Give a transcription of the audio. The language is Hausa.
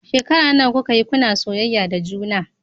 Shekara nawa kuka yi kuna soyayya da juna?